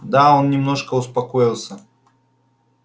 да он немножко успокоился